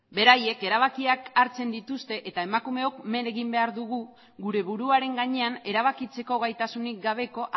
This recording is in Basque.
beraiek erabakiak hartzen dituzte eta emakumeok men egin behar dugu gure buruaren gainean erabakitzeko gaitasunik gabeko